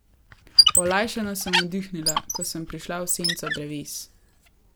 Olajšano sem vdihnila, ko sem prišla v senco dreves.